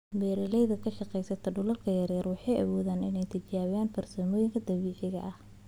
Beeralayda ka shaqeeya dhulal yaryar waxay awoodaan inay tijaabiyaan farsamooyinka dabiiciga ah.